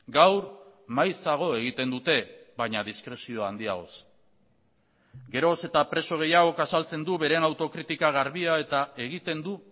gaur maizago egiten dute baina diskrezio handiagoz geroz eta preso gehiagok azaltzen du beren autokritika garbia eta egiten du